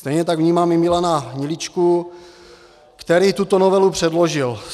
Stejně tak vnímám i Milana Hniličku, který tuto novelu předložil.